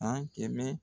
An kɛmɛ